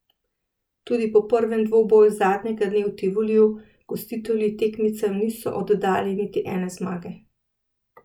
Tudi po prvem dvoboju zadnjega dne v Tivoliju gostitelji tekmecem niso oddali niti ene zmage.